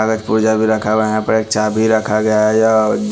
रखा हुआ है यह पर एक चाबी रखा गया है अ--